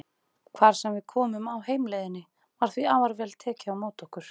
Hvar sem við komum á heimleiðinni var því afar vel tekið á móti okkur.